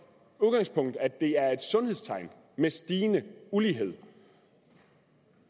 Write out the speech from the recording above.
jeg at det er et sundhedstegn med stigende ulighed